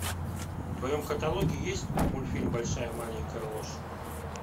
в твоем каталоге есть мультфильм большая маленькая ложь